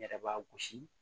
N yɛrɛ b'a gosi